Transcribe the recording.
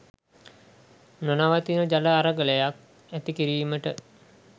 නොනවතින ජල අරගලයක් ඇති කිරීමට